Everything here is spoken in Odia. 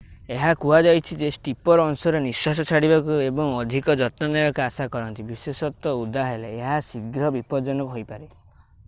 ଏହା ହୁହାଯାଇଛି ଯେ ଷ୍ଟିପର ଅଂଶରେ ନିଶ୍ୱାସ ଛାଡିବାକୁ ଏବଂ ଅଧିକ ଯତ୍ନ ନେବାକୁ ଆଶା କରନ୍ତୁ ବିଶେଷତଃ ଓଦା ହେଲେ ଏହା ଶୀଘ୍ର ବିପଜ୍ଜନକ ହୋଇପାରେ